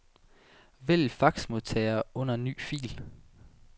Vælg faxmodtager under ny fil.